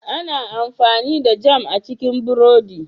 Ana amfani da Jam a ci burodi.